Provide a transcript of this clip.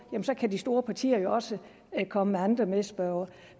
kan de store partier jo også komme med andre medspørgere